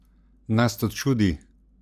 Nas to čudi?